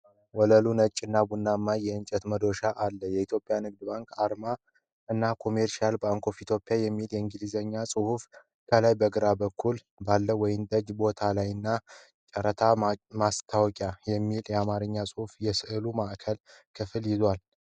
ወለሉ ነጭና ቡናማ የእንጨት መዶሻ አለ። የኢትዮጵያ ንግድ ባንክ አርማ እና "Commercial Bank of Ethiopia" የሚለው የእንግሊዝኛ ጽሑፍ ከላይ በግራ በኩል ባለው ወይንጠጅ ቦታ ላይና "የጨረታ ማስታወቂያ" የሚል የአማርኛ ጽሑፍ የሥዕሉን ማዕከላዊ ክፍል ይዟል።